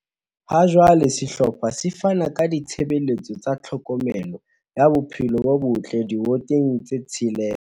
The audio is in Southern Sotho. Ha jwale sehlopha se fana ka ditshebeletso tsa tlhokomelo ya bophelo bo botle diwoteng tse tshelela.